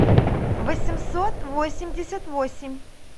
восемьсот восемьдесят восемь